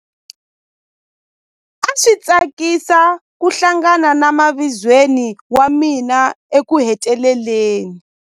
A swi tsakisa ku hlangana na mavizweni wa mina ekuheteleleni.